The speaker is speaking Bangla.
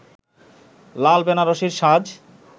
লাল বেনারসির সাজ